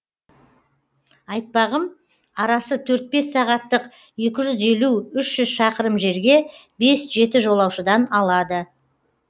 айтпағым арасы төрт бес сағаттық екі жүз елу үш жүз шақырым жерге бес жеті жолаушыдан алады